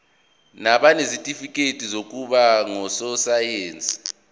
nabanezitifikedi zokuba ngososayense